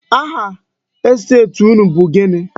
Aha estet unu bụ gịnị?